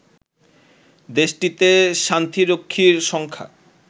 দেশটিতে শান্তিরক্ষীর সংখ্যা